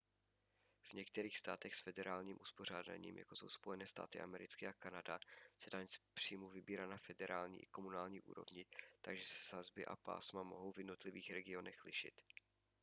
v některých státech s federálním uspořádáním jako jsou spojené státy americké a kanada se daň z příjmu vybírá na federální i komunální úrovni takže se sazby a pásma mohou v jednotlivých regionech lišit